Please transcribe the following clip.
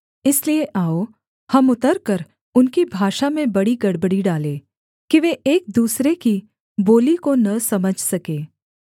इसलिए आओ हम उतरकर उनकी भाषा में बड़ी गड़बड़ी डालें कि वे एक दूसरे की बोली को न समझ सके